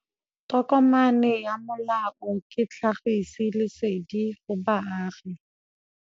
Tokomane ya molao ke tlhagisi lesedi go baagi.